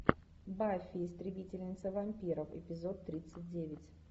баффи истребительница вампиров эпизод тридцать девять